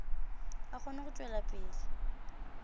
a kgone go tšwela pele